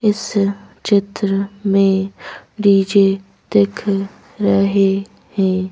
इस चित्र में डी_जे दिखरहेहैं।